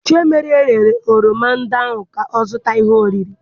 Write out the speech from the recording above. Chiemerie rere oroma ndị ahụ ka ọ zụta ihe oriri.